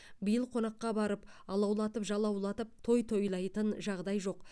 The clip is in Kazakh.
биыл қонаққа барып алаулатып жалаулатып той тойлайтын жағдай жоқ